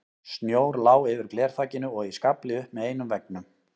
Snjór lá yfir glerþakinu og í skafli upp með einum veggnum.